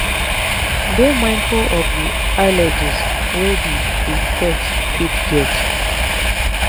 dey mindful of di allergies wey di di pet fit get